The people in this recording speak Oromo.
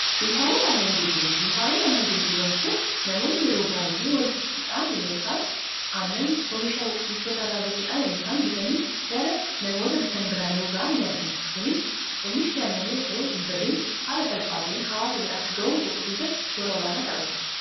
Dunkaanota aannan gurguran dunkaanoonni aannan gurguran kun namoonni yeroo baay'ee waliin dhufuudhaan nmh mishtootaarraabituudhaan yeroosaan bitanii gara namoota bitanbiraani'uoga'a ni argina kunis oomisha hin badiin haala salphaata'in hawaasa biraa akka ga'uu godhu keessatti shoora olaanaa taphata.